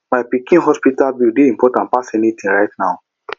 my pikin hospital bill dey important pass anything right now